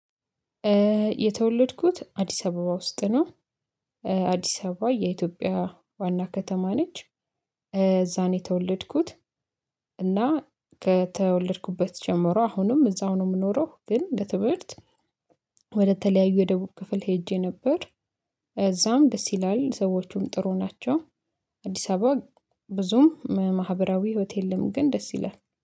የተወለድኩት አዲስ አበባ ውስጥ ነው። አዲስ አበባ የኢትዮጵያ ዋና ከተማ ነች። እዛ ነው የተወለድኩት። እና ከተወለድኩበት ጀምሮ አሁንም እዛው ነው የምኖረው። ግን ለትምህርት ወደተለያዩ የደቡብ ክፍል ሄጄ ነበር። እዛም ደስ ይላል ሰዎቹም ጥሩ ናቸው። አዲስ አበባ ብዙም ማህበራዊ ህይወት የለም ግን ደስ ይላል